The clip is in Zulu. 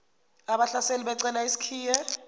abahlaseli becela isikhiye